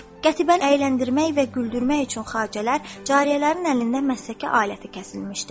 Qətibəni əyləndirmək və güldürmək üçün xacələr cariyələrin əlində məsləki aləti kəsilmişdi.